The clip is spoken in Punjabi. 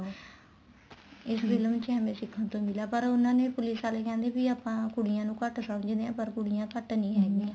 ਇਸ ਫ਼ਿਲਮ ਚ ਐਵੇ ਸਿਖਣ ਤੋ ਮਿਲਿਆ ਏ ਪਰ ਉਹਨਾ ਨੇ police ਆਲੇ ਕਹਿੰਦੇ ਵੀ ਆਪਾਂ ਕੁੜੀਆਂ ਨੂੰ ਘੱਟ ਸਮਝਦੇ ਆ ਪਰ ਕੁੜੀਆਂ ਘੱਟ ਨਹੀਂ ਹੈਗੀਆਂ